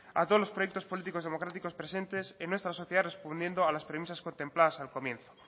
a todos los proyectos políticos democráticos presentes en nuestra sociedad respondiendo a las premisas contempladas al comienzo